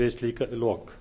við slík lok